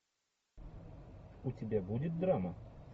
у тебя будет драма